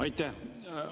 Aitäh!